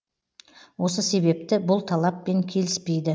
осы себепті бұл талаппен келіспейді